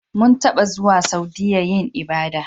Mun taba zuwa Saudiya yin ibada.